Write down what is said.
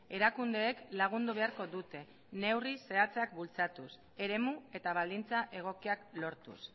erakundeek lagundu beharko dute neurri zehatzak bultzatuz eremu eta baldintza egokiak lortuz